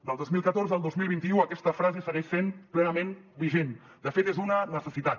del dos mil catorze al dos mil vint u aquesta frase segueix sent plenament vigent de fet és una necessitat